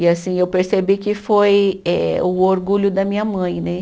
E assim, eu percebi que foi eh o orgulho da minha mãe, né?